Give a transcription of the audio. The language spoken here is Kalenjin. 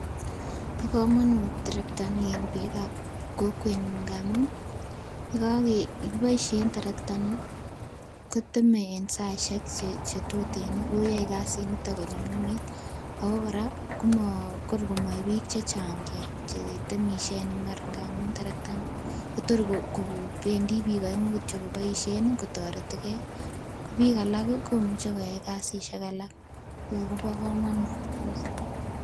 Bo kamanut terektani en piikab kokwenyu ngamun, ye kiboisie terektani koteme en saisiek che tuten ako yoe kasinito konyumnyumit, ako kora koma kor komae piik chechang che temisie en imbar ngamun terektani kotor kobendi piik aengu kityo koboisien ii kotoretikei, ko piik ii alak komuchi koyai kasisiek alak so kobo kamanut kabisa.